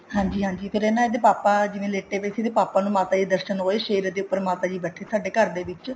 ਹਾਂਜੀ ਹਾਂਜੀ ਫ਼ੇਰ ਨਾ ਇਹਦੇ ਪਾਪਾ ਜਿਵੇਂ ਲੇਟੇ ਪਾਏ ਸੀ ਇਹਦਾ ਪਾਪਾ ਜੀ ਨੂੰ ਮਾਤਾ ਜੀ ਦੇ ਦਰਸ਼ਨ ਹੋਏ ਸ਼ੇਰ ਦੇ ਉੱਪਰ ਮਾਤਾ ਜੀ ਬੈਠੇ ਸਾਡੇ ਘਰ ਦੇ ਵਿੱਚ